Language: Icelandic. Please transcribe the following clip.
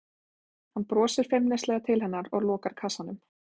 Hann brosir feimnislega til hennar og lokar kassanum.